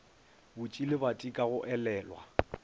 butše lebati ka go elelwa